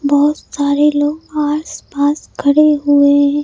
बहुत सारे लोग आसपास खड़े हुए हैं।